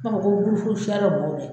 I b'a fɔ ko gurupu siya dɔ